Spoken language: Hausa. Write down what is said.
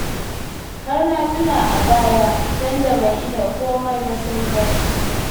Har na tuna a baya sanda ban iya komai ba sai bacci